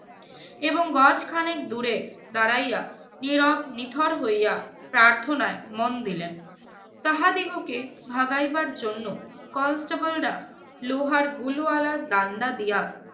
এবং গজখানেক দূরে দাঁড়াইয়া নীরব নিথর হইয়া প্রার্থনায় মন দিলেন। তাহাদিগকে ভাগাইবার জন্য constable রা লোহার গুলওয়ালা ডাণ্ডা দিয়া